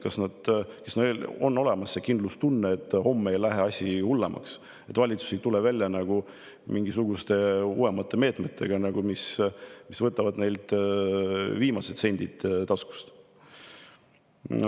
Kas neil on kindlustunne, et homme ei lähe asi hullemaks, et valitsus ei tule välja mingisuguste uuemate meetmetega, mis võtavad neilt viimased sendid taskust?